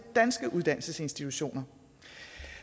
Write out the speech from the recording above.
danske uddannelsesinstitutioner